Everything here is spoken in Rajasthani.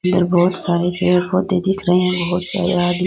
यहां बहुत सारे पेड़ पौधे दिख रहे हैं बहुत सारे आदमी --